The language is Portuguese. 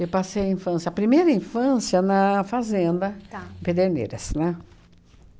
Eu passei a infância, a primeira infância na fazenda em Pederneiras, né?